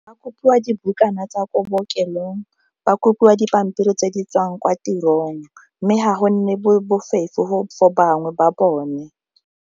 Ba kopiwa dibukana tsa ko bookelong, ba kopiwa dipampiri tse di tswang kwa tirong, mme ga go nne bofefo for bangwe ba bone.